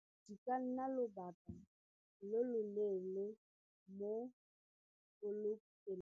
Di ka nna lobaka lo lo leele mo .